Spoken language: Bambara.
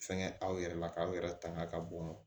Fɛnkɛ aw yɛrɛ la k'aw yɛrɛ tanga ka bɔn